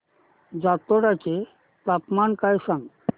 जातोडा चे तापमान सांग